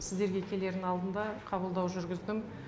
сіздерге келердің алдында қабылдау жүргіздім